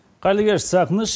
қайырлы кеш сағыныш